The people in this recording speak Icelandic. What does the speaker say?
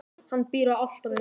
Hann býr á Álftanesi.